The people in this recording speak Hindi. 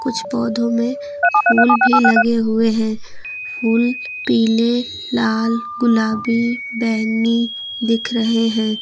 कुछ पौधों में फूल भी लगे हुए हैं फूल पीले लाल गुलाबी बैंगनी दिख रहे हैं।